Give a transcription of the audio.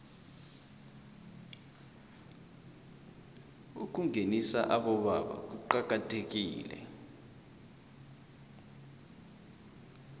ukungenisa abobaba kuqakathekile